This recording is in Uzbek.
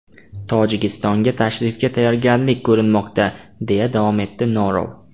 Tojikistonga tashrifga tayyorgarlik ko‘rilmoqda”, deya davom etdi Norov.